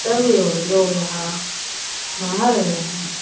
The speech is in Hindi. सभी ओ लोग यहां नहा रहे हैं।